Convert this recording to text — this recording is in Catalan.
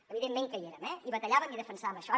evidentment que hi érem i batallàvem i defensàvem això